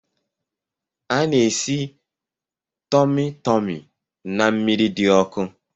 A na-esi tumu tumu na mmiri di oku